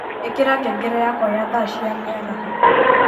ikira ngengere yakwa ya thaa cia mĩaraho